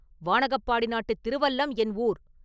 வாணகப்பாடி நாட்டுத் திருவல்லம் என் ஊர்.